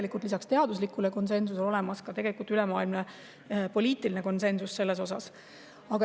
Nii et lisaks teaduslikule konsensusele on olemas ka ülemaailmne poliitiline konsensus selles osas.